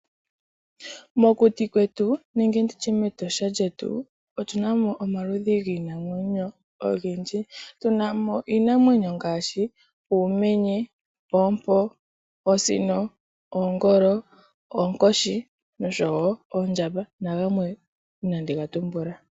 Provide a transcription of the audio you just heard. Mokuti kwetu nenge nditye mEtosha lyetu, otu na mo omaludhi giinamwenyo ogendji. Tu na mo iinamwenyo ngaashi uumenye, oompo, oosino, oongolo, oonkoshi oshowo oondjamba nagamwe inaandi ga tumbula.